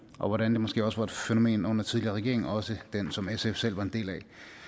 og hvordan det måske også var et fænomen under tidligere regeringer også den som sf selv var en del af